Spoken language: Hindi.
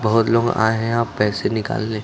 बहुत लोग आए हैं यहां पैसे निकालने।